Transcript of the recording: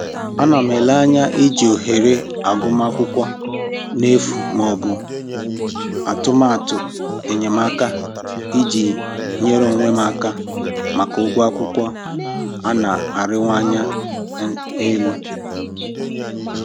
Ana m ele anya iji ohere agụmakwụkwọ n'efu maọbụ atụmatụ enyemaka iji nyere onwe m aka maka ụgwọ akwụkwọ a na-arịwanye um elu